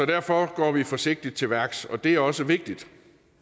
derfor går vi forsigtigt til værks og det er også vigtigt